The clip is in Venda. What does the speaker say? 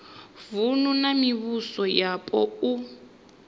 vunu na mivhuso yapo u